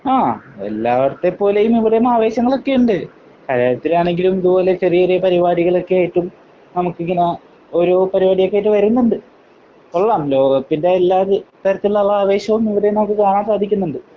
ആഹ്. എല്ലാടത്തെ പോലെയും ഇവിടെയും ആവേശങ്ങളൊക്കെ ഉണ്ട്. കലാലയത്തിലാണെങ്കിലും ഇത് പോലെ ചെറിയ ചെറിയ പരിപാടികളൊക്കെ ആയിട്ട് നമുക്കിങ്ങനെ ഓരോ പരിപാടിയൊക്കെ ആയിട്ട് വരുന്നുണ്ട്. കൊള്ളാം. ലോകകപ്പിന്റെ എല്ലാ തരത്തിലുള്ള ആവേശവും ഇവിടെയും നമുക്ക് കാണാൻ സാധിക്കുന്നുണ്ട്.